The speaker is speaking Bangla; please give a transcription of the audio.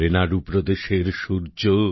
রেনাড়ু প্রদেশের সূর্য